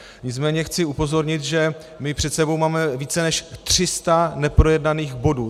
Nicméně chci upozornit, že my před sebou máme více než 300 neprojednaných bodů.